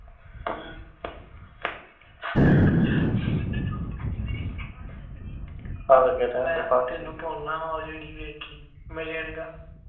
ਮੈਂ ਤੈਨੂੰ ਪਾਉਣਾ ਉਹ ਜਿਹੜੀ ਵੇਖੀ ਮੇਰੇ ਆਲੇ ਦਾ